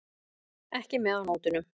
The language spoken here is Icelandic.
Ekki með á nótunum.